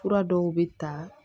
Fura dɔw bɛ ta